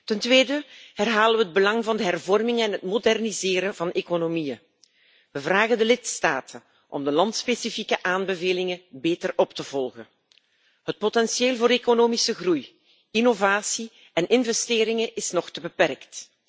Ten tweede herhalen we het belang van de hervormingen en het moderniseren van economieën. We vragen de lidstaten om de landspecifieke aanbevelingen beter op te volgen. Het potentieel voor economische groei, innovatie en investeringen is nog te beperkt.